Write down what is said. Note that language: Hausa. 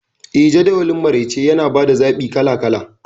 Eh, Jadawalin maraice yana ba da zaɓi kala kala..